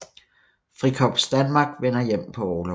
Frikorps Danmark vender hjem på orlov